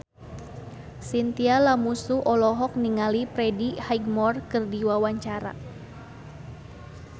Chintya Lamusu olohok ningali Freddie Highmore keur diwawancara